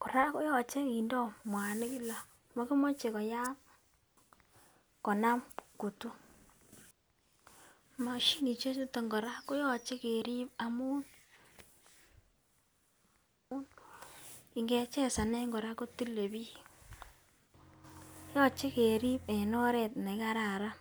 Koraa koyoche kindo muanik kila mokimoche koyam konam kutu, moshinishek chuton Koraa koyoche kerib amun igechezanen Koraa kotile bik. Yoche kerib en oret nekararan.